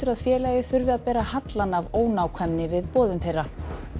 að félagið þurfi að bera hallann af ónákvæmni við boðun þeirra